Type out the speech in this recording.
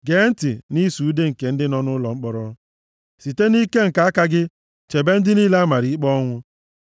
Gee ntị nʼịsụ ude nke ndị nọ nʼụlọ mkpọrọ; site nʼike nke aka gị chebe ndị niile a mara ikpe ọnwụ.